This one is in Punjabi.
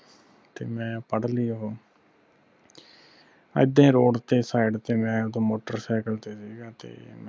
ਤੇ ਮੈਂ ਪੜ੍ਹ ਲੀ ਉਹ ਇਦਾ road ਤੇ side ਤੇ ਮੈਂ ਮੋਟਰ ਸਾਈਕਲ ਤੇ ਸੀਗਾ